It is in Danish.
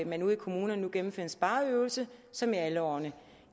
man ude i kommunerne nu gennemfører en spareøvelse som i alle årene